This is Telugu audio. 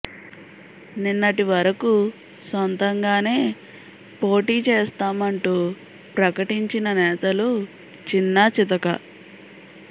నిన్నటి వరకు సొంతంగానే పోటీ చేస్తామంటూ ప్రకటించిన నేతలు చిన్న చితక